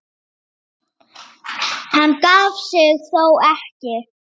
Hann gaf sig þó ekki.